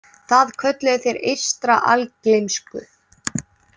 Það kölluðu þeir eystra algleymsku.